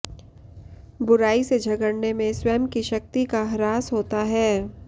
बुराई से झगड़ने में स्वयं की शक्ति का हृास होता है